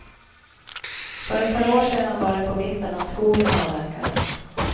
För ett par år sedan var det på vippen att skogen avverkades.